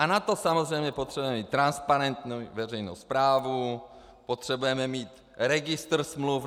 A na to samozřejmě potřebujeme mít transparentní veřejnou správu, potřebujeme mít registr smluv.